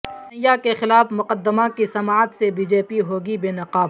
کنہیا کے خلاف مقدمہ کی سماعت سے بی جے پی ہوگی بے نقاب